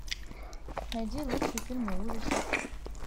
найди лучшие фильмы ужасов